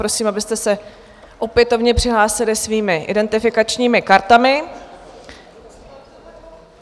Prosím, abyste se opětovně přihlásili svými identifikačními kartami.